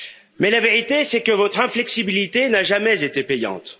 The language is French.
Mais la vérité, c'est que votre inflexibilité n'a jamais été payante.